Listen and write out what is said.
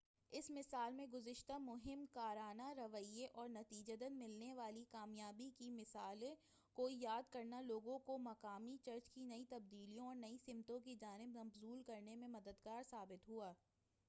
اس مثال میں گزشتہ مہم کارانہ رویئے اور نتیجتاً ملنے والی کامیابی کی مثالوں کو یاد کرنا لوگوں کو مقامی چرچ کی نئی تبدیلیوں اور نئی سمتوں کی جانب مبذول کرنے میں مددگار ثابت ہوا